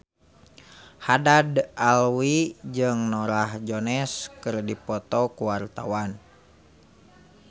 Haddad Alwi jeung Norah Jones keur dipoto ku wartawan